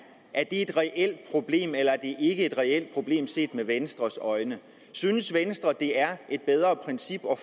er det et reelt problem eller er det ikke et reelt problem set med venstres øjne synes venstre det er et bedre princip at